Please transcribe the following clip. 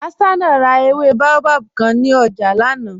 Hassana rà èwé bàòbáb kàn ní ọ̀jà lánà.